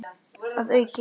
Að auki